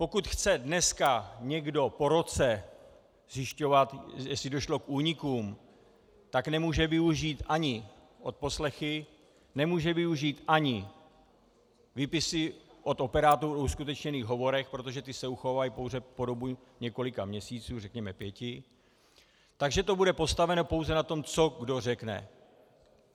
Pokud chce dneska někdo po roce zjišťovat, jestli došlo k únikům, tak nemůže využít ani odposlechy, nemůže využít ani výpisy od operátorů o uskutečněných hovorech, protože ty se uchovávají pouze po dobu několika měsíců, řekněme pěti, takže to bude postaveno pouze na tom, co kdo řekne.